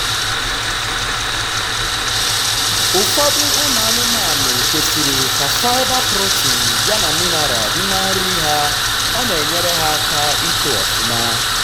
ụfọdụ ụmụ anụmanụ kwesiri k' fibreprotein ya na mineral di na nri ha ọna enyere ha aka itoo ọfụma